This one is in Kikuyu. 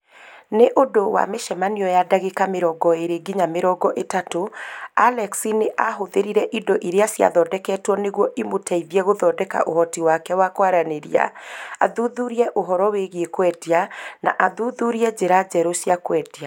Nĩ ũndũ wa mĩcemanio ya ndagĩka 20 nginya 30, Alex nĩ aahũthĩrire indo iria ciathondeketwo nĩguo imũteithie gũthondeka ũhoti wake wa kwaranĩria, athuthurie ũhoro wĩgiĩ kwendia, na athuthurie njĩra njerũ cia kwendia.